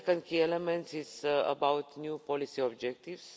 The second key element is about new policy objectives.